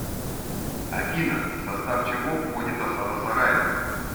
афина в состав чего входит осада сараева